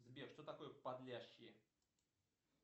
сбер что такое подлящие